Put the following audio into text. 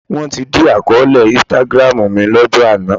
Wọ́n ti dí àkọọ́lẹ̀ Instagram mi lọ́jọ́ àná